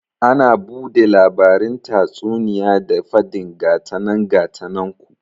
Ana bude labarin tatsuniya da fadin gatanan gatanan ku